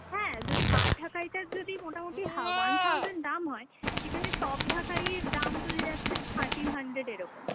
হ্যাঁ, যদি hard ঢাকাই টার যদি মোটা-মুটি হা one thousand দাম হয় সেখানে soft ঢাকাইয়ের দাম চলে যাচ্ছে thirteen hundred এরকম।